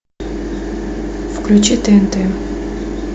включи тнт